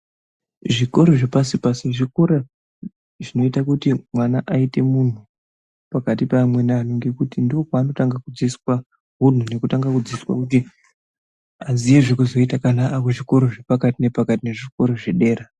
Zvikoro zvepashi pasi pasi zvikora zvinoita kuti mwana aite munhu pakati peamweni anhu ngekuti ndopanotanga kudzidziswa unhu nekutanga kudzidziswa kuti aziye zvekuzoita kana akuzvikora zvepakati nepakati nezvikora zvedera.